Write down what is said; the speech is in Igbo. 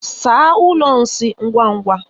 Saa ụlọ nsị ngwa ngwa!